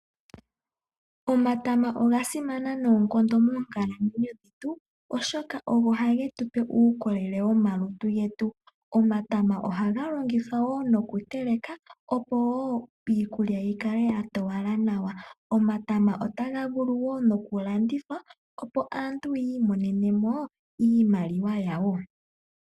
Omatama ogasimana moonkalamwenyo dhetu, oshoka ogo ha ge tupe uukolele womalutu getu. Omatama oha ga lonigithwa woo nokutela, opo woo iikulya yi kale yatowala nawa, omatama oha ga vulu woo nokulandithwa, opo aantu yiimonene iimaliwa yawo.